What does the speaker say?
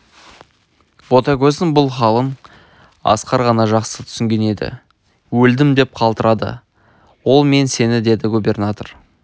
ботагөздің бұл халын асқар ғана жақсы түсінген еді өлдім деп қалтырады ол мен сені деді губернатор